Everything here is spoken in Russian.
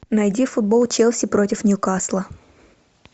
найди футбол челси против ньюкасла